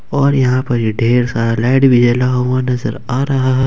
और यहां पर ये ढेर सारा लाइट भी जला हुआ नजर आ रहा है।